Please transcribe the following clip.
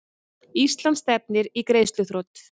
Ísland stefnir í greiðsluþrot